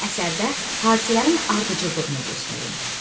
Əsərdə hadisələrin ardıcıllığını göstərin.